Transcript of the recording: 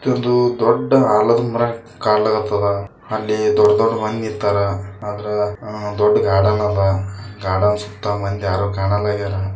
ಇದೊಂದು ದೊಡ್ಡ ಆಲದ ಮರ ಕಣ್ಲ್ಯಾಕ್ಹತ್ತದ ಅಲ್ಲಿ ದೊಡ್ಡ್ ದೊಡ್ಡ್ ಮಂದಿ ನಂತರ ಅದರ ದೊಡ್ಡ ಗಾರ್ಡನ್ ಅದ ಗಾರ್ಡನ್ ಸುತ್ತ ಮಂದಿ ಯಾರು ಕಾಣಲಾಗ್ಯರ.